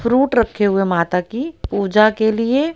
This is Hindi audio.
फ्रूट रखे हुए है माता की पूजा के लिए--